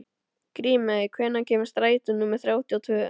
Grímey, hvenær kemur strætó númer þrjátíu og tvö?